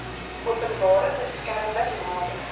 openbare beskermer nader